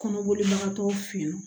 Kɔnɔboli bagakɔtɔw fe yen nɔ